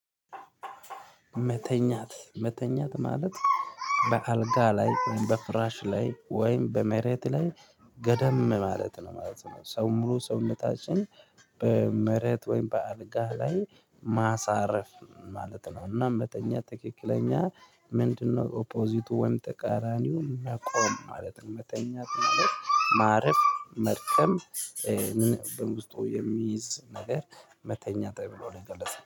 መተኛት መተኛት ማለት በአልጋ ላይ በፍራሽ ላይ ወይም በመሬት ላይ ገደም ማለት ነው ማለት ነው። ሰው ሙሉ ሰውነታችን በመሬት ወይም በአልጋህ ላይ ማሳረፍ ማለት ነው። እና መተኛት ትክክለኛ ምንድነው? ኦፖዚቱ ወይም ተቃራኒው መቆም ማለት ነው። መተኛት ማለት ማረፍ መድከም በውስጡ የሚይዝ ነገር መተኛት ተብሎ ነው የገለጸው